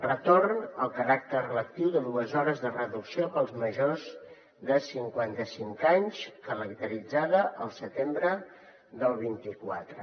retorn al caràcter lectiu de dues hores de reducció per als majors de cinquanta cinc anys calendaritzat al setembre del vint quatre